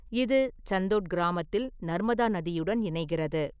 இது சந்தோட் கிராமத்தில் நர்மதா நதியுடன் இணைகிறது.